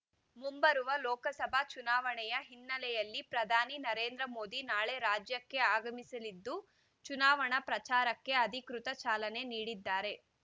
ಮುಂಬರುವ ಲೋಕಸಭಾ ಚುನಾವಣೆಯ ಹಿನ್ನೆಲೆಯಲ್ಲಿ ಪ್ರಧಾನಿ ನರೇಂದ್ರ ಮೋದಿ ನಾಳೆ ರಾಜ್ಯಕ್ಕೆ ಆಗಮಿಸಲಿದ್ದು ಚುನಾವಣಾ ಪ್ರಚಾರಕ್ಕೆ ಅಧಿಕೃತ ಚಾಲನೆ ನೀಡಿದ್ದಾರೆ